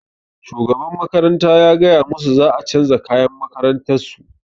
Shugaban makaranta ya gaya masu za a canza kayan makarantar su